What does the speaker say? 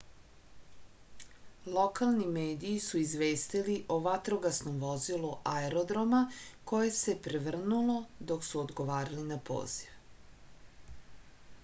lokalni mediji su izvestili o vatrogasnom vozilu aerodroma koje se prevrnulo dok su odgovarali na poziv